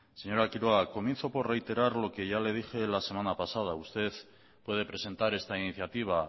señora quiroga comienzo por reiterar lo que ya le dije la semana pasada usted puede presentar esta iniciativa